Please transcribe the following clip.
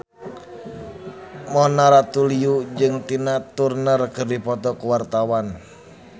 Mona Ratuliu jeung Tina Turner keur dipoto ku wartawan